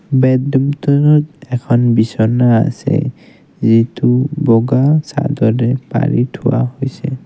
Bed ৰুমটনত এখন বিছনা আছে যিটো বগা চাদৰে পাৰি থোৱা হৈছে।